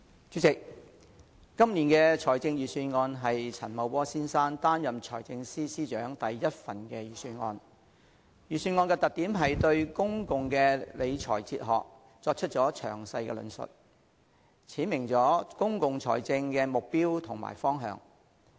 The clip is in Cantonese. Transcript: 主席，今年的財政預算案是陳茂波先生擔任財政司司長的第一份預算案，預算案的特點是對公共理財哲學作出詳細的論述，闡明了公共財政的目標和方向。